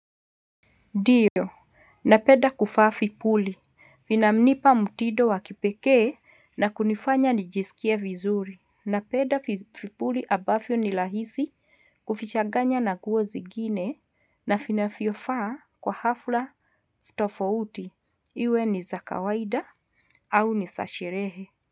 Ndiyo, napenda kuvaa vipuli, vinanipa mtindo wa kipekee na kunifanya nijisikie vizuri, napenda vipuli ambavyo ni rahisi kuvichanganya na nguo zingine na vinavyofaa kwa hafla tofauti iwe ni za kawaida au ni za sherehe.